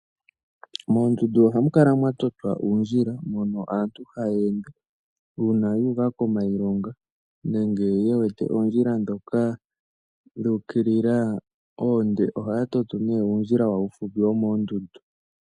Moondundu ohamu kala mwatotwa uundjila mono aantu hayeende. Uuna yuuka komailonga nenge yewete oondjila ndhoka dhuukilila oonde, ohaya toto nee uundjila wawo uufupi womoondundu.